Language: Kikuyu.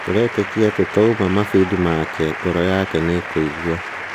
"Tũretĩkia atĩ twauna mabĩndĩ make, ngoro yake nĩĩkũigua."